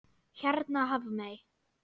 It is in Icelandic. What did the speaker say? Hérna Hafmey.